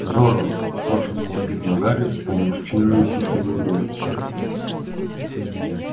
здорово восторженно воскликнул гарри вспомнив чинную тисовую улицу